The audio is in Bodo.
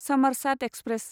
समरसात एक्सप्रेस